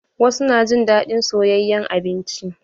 Wasu na jin daɗin soyayen abinci.